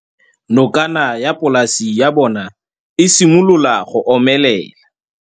Nokana ya polase ya bona, e simolola go omelela.